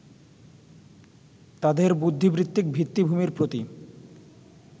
তাঁদের বুদ্ধিবৃত্তিক ভিত্তিভূমির প্রতি